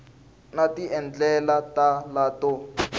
na tindlela to tala to